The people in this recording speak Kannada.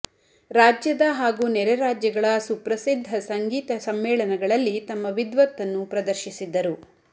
ರಾಜ್ಯದ ಹಾಗೂ ನೆರೆ ರಾಜ್ಯಗಳ ಸುಪ್ರಸಿದ್ಧ ಸಂಗೀತ ಸಮ್ಮೇಳನಗಳಲ್ಲಿ ತಮ್ಮ ವಿದ್ವತ್ತನ್ನು ಪ್ರದರ್ಶಿಸಿದ್ದರು